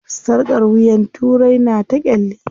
Sarƙar wuyan turai na ta ƙyalli.